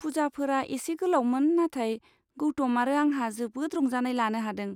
पुजाफोरा एसे गोलावमोन नाथाय गौतम आरो आंहा जोबोद रंजानाय लानो हादों।